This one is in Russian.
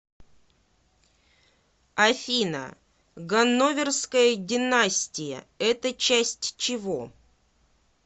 афина ганноверская династия это часть чего